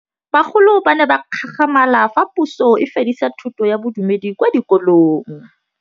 Bagolo ba ne ba gakgamala fa Pusô e fedisa thutô ya Bodumedi kwa dikolong.